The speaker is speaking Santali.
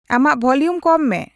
ᱟᱢᱟᱜ ᱵᱷᱚᱞᱤᱭᱩᱢ ᱠᱚᱢ ᱢᱮ